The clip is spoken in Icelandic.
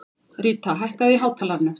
Ríta, hækkaðu í hátalaranum.